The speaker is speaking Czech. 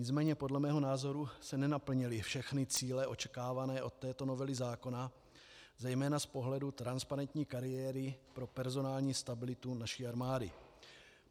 Nicméně podle mého názoru se nenaplnily všechny cíle očekávané od této novely zákona, zejména z pohledu transparentní kariéry pro personální stabilitu naší armády.